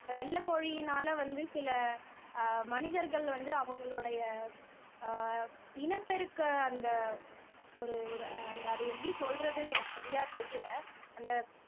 வெள்ளை கோழியினால வந்து சில ஆஹ் மனிதர்கள் வந்து அவங்களுடைய ஆஹ் இனப்பெருக்க அந்த ஒரு ஒரு அந்த அதை எப்படி சொல்றதுன்னு எனக்கு சரியா தெரியல அந்த